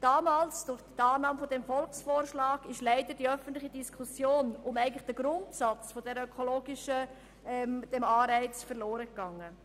Durch den angenommenen Volksvorschlag ist der Grundsatz dieses ökologischen Anreizes in der öffentlichen Diskussion verloren gegangen.